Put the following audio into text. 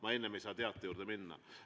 Ma enne ei saa teate juurde minna.